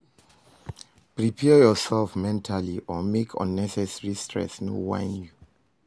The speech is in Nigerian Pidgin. Prepare urself mentally o mek unnecessary stress no whine you